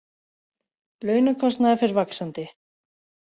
Launakostnaður fer vaxandi